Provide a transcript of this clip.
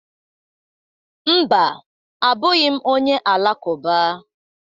Mba, abụghị m onye Alakụba